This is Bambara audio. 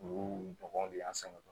Olu dɔnw de y'an sɛgɛn